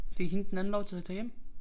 Fik hende den anden lov til at tage hjem?